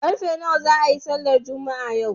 Karfe nawa za a yi sallar Juma'a yau?